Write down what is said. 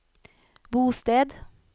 bosted